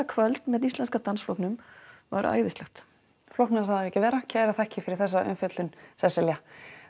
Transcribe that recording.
kvöld með Íslenska dansflokknum var æðislegt flóknara á það ekki að vera kærar þakkir fyrir þessa umfjöllun Sesselja